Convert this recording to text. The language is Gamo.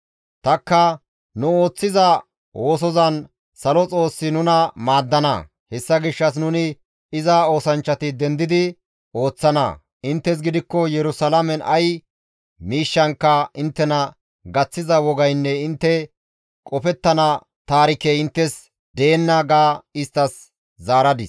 Tanikka, «Nu ooththiza oosozan Salo Xoossi nuna maaddana; hessa gishshas nuni iza oosanchchati dendidi ooththana; inttes gidikko Yerusalaamen ay miishshankka inttena gaththiza wogaynne intte qofettana taarikey inttes deenna!» ga isttas zaaradis.